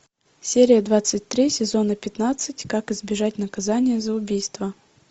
серия двадцать три сезона пятнадцать как избежать наказания за убийство